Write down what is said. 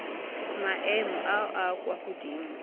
maemong a a kwa godimo